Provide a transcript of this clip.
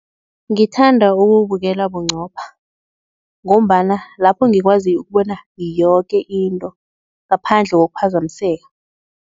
Ngithanda ukuwubukela bunqopha ngombana lapho ngikwazi ukubona yoke into ngaphandle kokuphazamiseka.